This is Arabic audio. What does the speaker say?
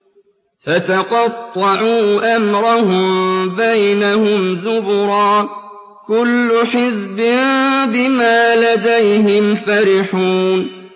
فَتَقَطَّعُوا أَمْرَهُم بَيْنَهُمْ زُبُرًا ۖ كُلُّ حِزْبٍ بِمَا لَدَيْهِمْ فَرِحُونَ